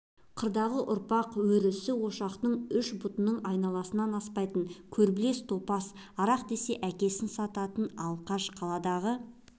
қырдағы ұрпақ өресі ошақтың үш бұтының айналасынан аспайтын көрбілте топас арақ десе әкесін сататын алқаш қаладағы